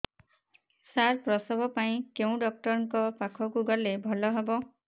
ସାର ପ୍ରସବ ପାଇଁ କେଉଁ ଡକ୍ଟର ଙ୍କ ପାଖକୁ ଗଲେ ଭଲ ହେବ